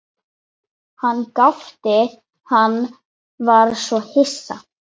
Hann gapti, hann var svo hissa.